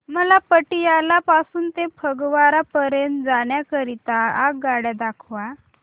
मला पटियाला पासून ते फगवारा पर्यंत जाण्या करीता आगगाड्या दाखवा